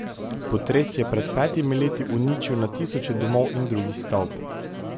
Potres je pred petimi leti uničil na tisoče domov in drugih stavb.